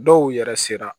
Dɔw yɛrɛ sera